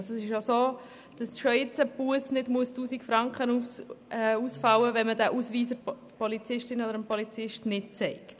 Es ist bereits jetzt so, dass eine Busse nicht 1000 Franken Kosten muss, wenn man den Ausweis nicht zeigt.